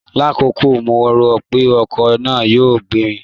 Lákọ̀ọ́kọ́ mo rò pé ọkọ̀ náà yóò gbé mi